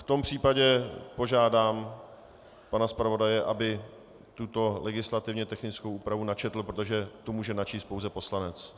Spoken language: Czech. V tom případě požádám pana zpravodaje, aby tuto legislativně technickou úpravu načetl, protože to může načíst pouze poslanec.